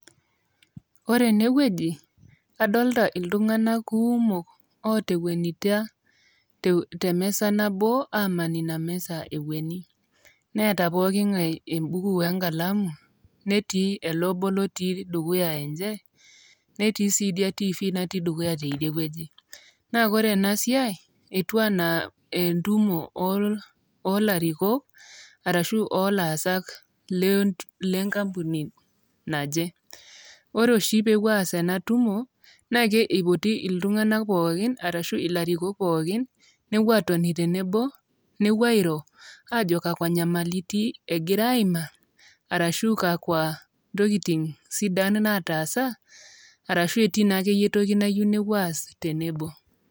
Ore enewueji, adolta iltung'anak kuumok otowuenitia temisa nabo, aman ina misa ekueni. Neeta pooking'ae ebuku wenkalamu, netii ele obo lotii dukuya enche, netii si idia tifi natii dukuya teidiewueji. Na ore enasiai, etiu enaa entumo olarikok, arashu olaasak lenkampuni naje. Ore oshi pepuo aas enatumo, na ke ipoti iltung'anak pookin, arashu ilarikok pookin, nepuo atoni tenebo, nepuo airo, ajo kakwa nyamaliti egira aimaa, arashu kakwa ntokiting sidan nataasa, arashu etii naakeyie entoki nayieu nepuo aas tenebo.